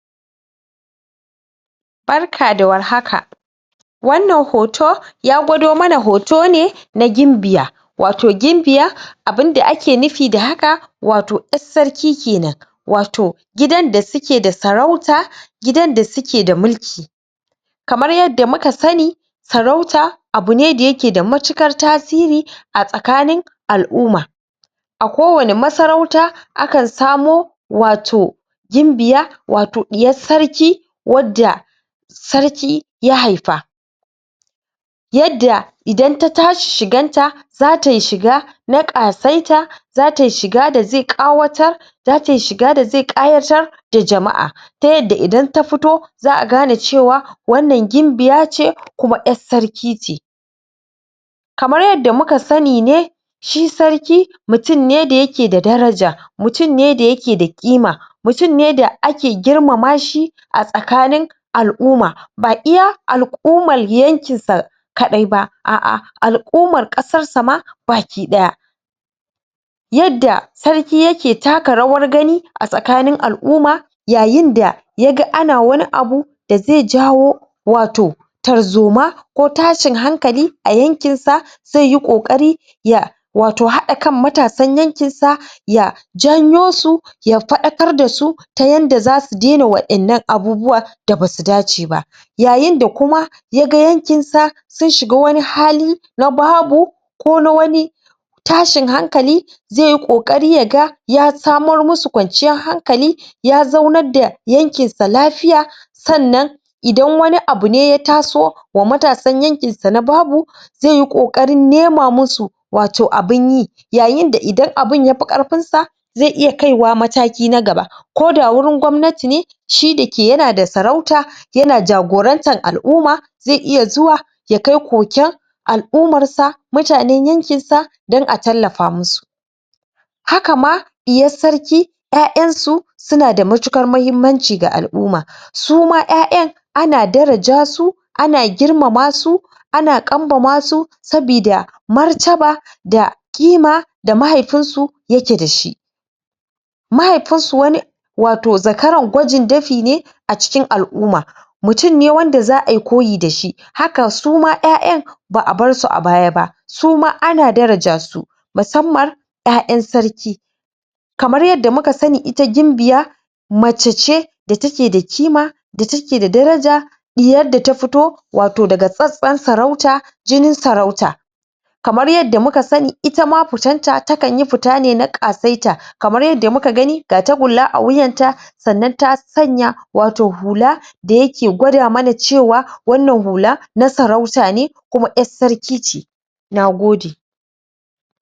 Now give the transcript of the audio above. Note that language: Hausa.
Barka da warhaka. Wannan hoto, ya gwado mana hoto ne na gimbiya. Wato gimbiya, abunda ake nufi da haka, wato ƴar sarki kenan. Wato, gidan da suke da sarauta, gidan da suke da mulki. Kamar yadda muka sani, sarauta abu ne da yake da matuƙar tasiri a tsakanin al'uma. A ko wani masarauta, a kan samo wato gimbiya, wato ɗiyas sarki, wadda sarki ya haifa. Yadda idan ta tashi shigan ta, za tai shiga na ƙasaita, za tai shiga da zai ƙawatar, da tai shiga da zai ƙayatar da jama'a. Ta yadda idan ta fito za a gane cewa wannan gimbiya ce, kuma ƴas sarki ce. Kamar yadda muka sani ne, shi sarki mutun ne da yake da daraja, mutun ne da yake da ƙima, mutun ne da ake girmama shi a tsakanin al'uma. Ba iya al'umal yankin sa kaɗai ba, a'a al'umar ƙasrsa ma baki ɗaya. Yadda sarki yake taka rawar gani a tsakani al'uma, yayin da yaga ana wani abu da zai jawo wato tarzoma, ko tashin hankali a yankin sa, zai yi ƙoƙari ya wato haɗa kan matasan yankin sa, ya janyo su, ya faɗakar da su, ta yanda za su daina wa'innan abubuwa da basu dace ba. Yayin da kuma ya ga yankin sa sun shiga cikin wani hali, na babu ko na wani tashin hankali, zai yi ƙoƙari ya ga ya samar musu kwanciyar hankali, ya zaunad da yankin sa lafiya, sannan idan wani abu ne ya taso wa matasan yankin sa, na babu, zai yi ƙoƙarin nema musu wato abun yi. Yayin da idan abun yafi ƙarfin sa, zai iya kaiwa mataki na gaba, ko da wurin gwamnati ne, shi da ke yana da saurauta, yana jagorantan al'uma, zai iya zuwa ya kai koken al'umar sa, mutanen yankin sa, dan a tallafa musu. Haka ma ɗiyas sarki, ƴaƴan su, suna da matuƙar mahimmanci ga al'umma. Su ma ƴaƴan ana daraja su, ana girmama su, ana ƙambama su, sabida martaba, da ƙima da mahaifin su yake da shi. Mahaifin su wani wato zakaran gwajin dafi ne a cikin al'uma. Mutun ne wanda za ai koyi dashi, haka su ma ƴaƴan ba a barsu a baya ba, su ma ana daraja su, musamman ƴaƴan sarki. Kamar yadda muka sani, ita gimbiya mace ce da take da ƙima, da take da daraja, ɗiyar da ta fito wato daga tsatstson sarauta, jinin sarauta. Kamar yadda muka sani, itama futan ta takan yi fita ne irin ta ƙasaita. Kamar yadda muka gani, ga tagulla a wuyanta, sannan ta sanya wato hula, da yake gwada mana cewa wannan hula na sarauta ne, kuma ƴar sarki ce. Nagode.